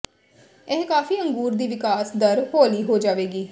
ਇਹ ਕਾਫ਼ੀ ਅੰਗੂਰ ਦੀ ਵਿਕਾਸ ਦਰ ਹੌਲੀ ਹੋ ਜਾਵੇਗੀ